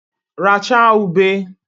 Rachaa ube!